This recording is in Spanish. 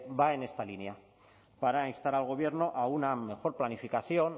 va en esta línea para instar al gobierno a una mejor planificación